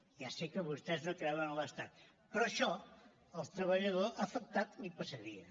ja sé que vostès no creuen en l’estat però això al treballador afectat li passaria